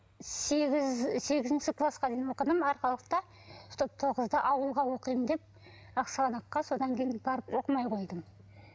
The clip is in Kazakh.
сегіз сегізінші класқа дейін оқыдым арқалықта чтоб тоғызды ауылға оқимын деп ақсығанаққа содан кейін барып оқымай қойдым